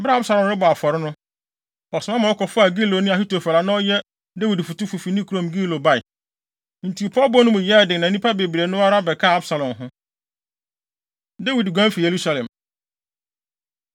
Bere a Absalom rebɔ afɔre no, ɔsoma ma wɔkɔfaa Giloni Ahitofel a na ɔyɛ Dawid fotufo fi ne kurom Gilo bae. Enti pɔwbɔ no mu yɛɛ den na nnipa bebree no ara bɛkaa Absalom ho. Dawid Guan Fi Yerusalem